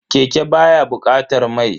Keke baya bukatar mai.